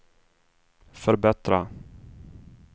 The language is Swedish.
förbättra